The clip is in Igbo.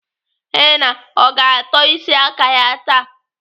Henna ọ ga-atọ isi aka ya taa?